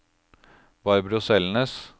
Barbro Selnes